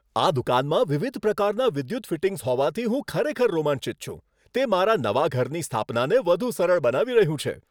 આ દુકાનમાં વિવિધ પ્રકારનાં વિદ્યુત ફિટિંગ્સ હોવાથી હું ખરેખર રોમાંચિત છું. તે મારા નવા ઘરની સ્થાપનાને વધુ સરળ બનાવી રહ્યું છે.